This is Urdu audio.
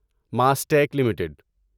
ماسٹیک لمیٹڈ